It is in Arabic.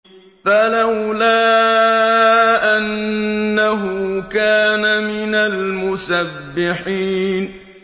فَلَوْلَا أَنَّهُ كَانَ مِنَ الْمُسَبِّحِينَ